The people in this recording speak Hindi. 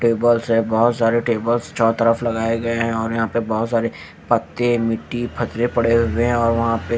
टेबल्स हैं बहोत सारे टेबल्स चारों तरफ लगाए गए हैं और यहां पे बहोत सारे पत्ते मिट्टी पड़े हुए हैं और वहां पे--